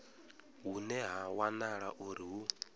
hune ha wanala uri hu